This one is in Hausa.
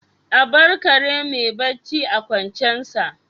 A bar kare mai barci a kwancensa